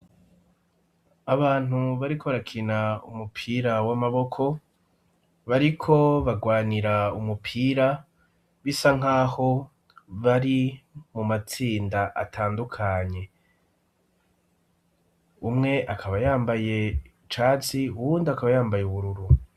Abantu bariko brakina umupira w'amaboko, bariko bagwanira umupira, bisa nk'aho bari mu matsinda atandukanye, umwe akaba yambaye icatsi, uwundi akaba yambaye ubururu.